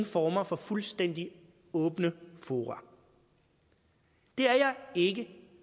former for fuldstændig åbne fora det er jeg ikke